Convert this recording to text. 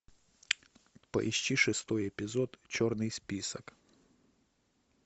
поищи шестой эпизод черный список